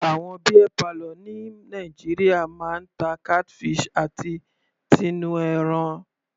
Àwọn beer parlour ni Nàìjíríà máa ń ta catfish àti tinú ẹran.